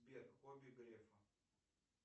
сбер хобби грефа